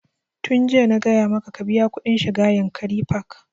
Tun jiya na gaya maka ka biya kuɗin shiga yankari park!